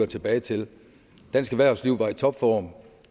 tilbage til dansk erhvervsliv var i topform